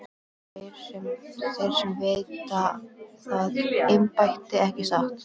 Og þeir sem veita það embætti, ekki satt?